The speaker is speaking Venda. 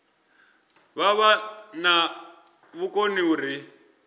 vha vha na vhukoni uri